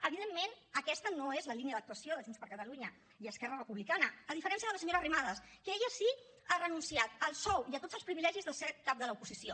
evidentment aquesta no és la línia d’actuació de junts per catalunya i esquerra republicana a diferència de la senyora arrimadas que ella sí que ha renunciat al sou i a tots els privilegis de ser cap de l’oposició